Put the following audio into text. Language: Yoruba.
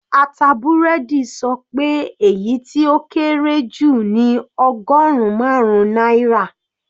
Ata búrẹ́dì sọ pé èyí tó kéré jù ní ọgọrùn marun náírà.